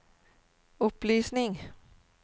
opplysning